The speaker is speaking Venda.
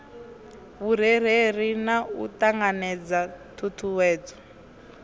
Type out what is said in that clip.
vhurereli na u ṱanganedza ṱhuṱhuwedzo